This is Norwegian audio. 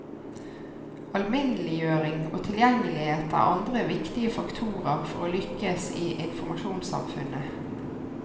Alminneliggjøring og tilgjengelighet er andre viktige faktorer for å lykkes i informasjonssamfunnet.